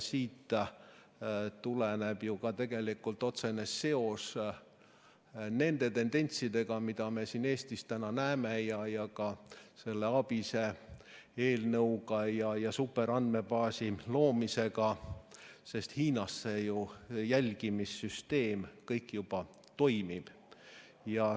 Siit tuleneb ka tegelikult otsene seos nende tendentsidega, mida me siin Eestis juba näeme, ka ABIS-e eelnõu ja superandmebaasi loomisega seoses, sest Hiinas see jälgimissüsteem kõik juba toimib.